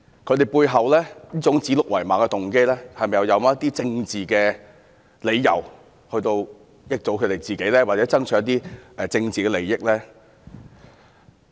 他們指鹿為馬的背後，是否有政治動機，從而益惠他們或讓他們取得一些政治利益呢？